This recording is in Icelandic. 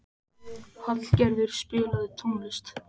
Hallgerður, spilaðu tónlist.